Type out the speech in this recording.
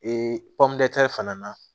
fana na